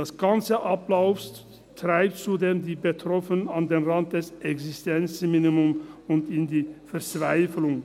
Der ganze Ablauf treibt zudem die Betroffenen an den Rand des Existenzminimums und in die Verzweiflung.